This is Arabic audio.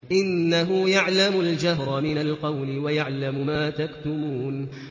إِنَّهُ يَعْلَمُ الْجَهْرَ مِنَ الْقَوْلِ وَيَعْلَمُ مَا تَكْتُمُونَ